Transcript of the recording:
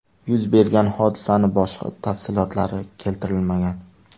Yuz bergan hodisaning boshqa tafsilotlari keltirilmagan.